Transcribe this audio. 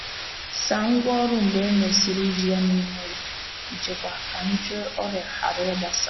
Saa ngwa ọrụ mgbe e mesịrị iji ha n’ime ụlọ nchekwa ka nje ọrịa ghara ịgbasa.